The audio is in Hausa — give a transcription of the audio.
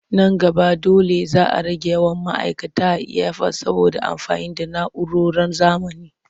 Nan gaba dole za a rage yawan ma'aikata a iyafot saboda amfani da na'uroron zamani.